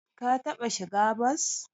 Ka taɓa shiga bas?